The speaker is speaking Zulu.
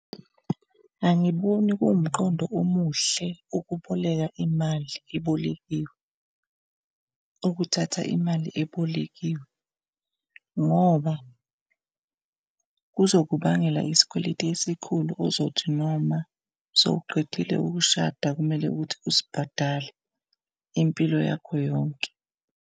Angiboni kuwumqondo omuhle ukuboleka imali ebolekiwe, ukuthatha imali ebolekiwe ngoba kuzokubangela isikweletu esikhulu ozothi noma sewuqedile ukushada kumele ukuthi usibhadale impilo yakho yonke.